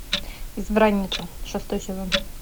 избранница шестой сезон